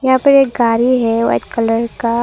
यहां पर एक गाड़ी है व्हाइट कलर का।